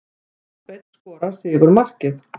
Kolbeinn skorar sigurmarkið.